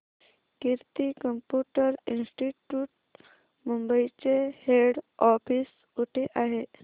कीर्ती computer institute Mumbai चे head office कुठे आहे